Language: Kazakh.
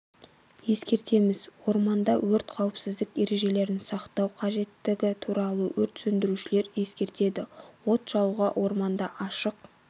ескертеміз орманда өрт қауіпсіздік ережелерін сақтау қажеттігі туралы өрт сөндірушілер ескертеді от жағуға орманда ашық